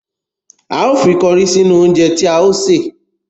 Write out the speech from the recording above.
A ó fi kọrí sínú oúnje tí a ó ṣè.